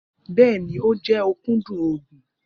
Bẹẹni, o jẹ okudun oogun.